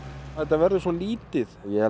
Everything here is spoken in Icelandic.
þetta verður svo lítið ef